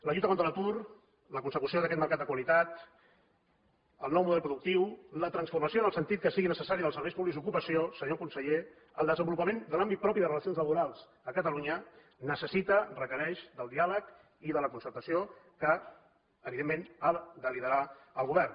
la lluita contra l’atur la consecució d’aquest mercat de qualitat el nou model productiu la transformació en el sentit que sigui necessària dels serveis públics d’ocupació senyor conseller el desenvolupament de l’àmbit propi de relacions laborals a catalunya necessita requereix del diàleg i de la concertació que evidentment ha de liderar el govern